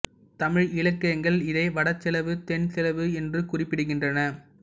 தமிழ் இலக்கியங்கள் இதை வட செலவு தென் செலவு என்று குறிப்பிடுகின்றன